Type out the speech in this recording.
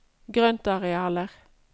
grøntarealer